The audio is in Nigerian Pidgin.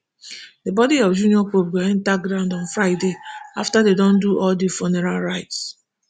di body of junior pope go enta ground on friday afta dem do all do funeral rites